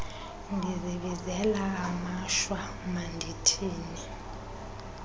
ndizibizela amashwa mandithini